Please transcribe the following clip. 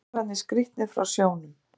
Og söngvarnir skrítnir frá sjónum.